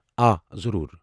آ ضروٗر۔